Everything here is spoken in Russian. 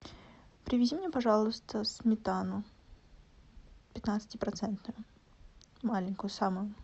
привези мне пожалуйста сметану пятнадцати процентную маленькую самую